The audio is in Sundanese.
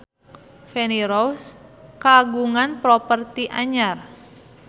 Feni Rose kagungan properti anyar